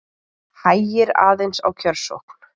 Hægir aðeins á kjörsókn